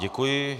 Děkuji.